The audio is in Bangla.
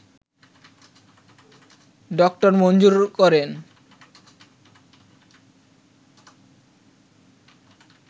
ড মঞ্জুর করে